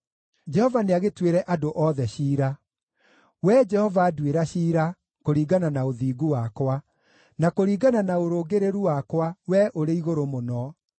Jehova nĩagĩtuĩre andũ othe ciira. Wee Jehova, nduĩra ciira, kũringana na ũthingu wakwa, na kũringana na ũrũngĩrĩru wakwa, Wee Ũrĩ-Igũrũ-Mũno.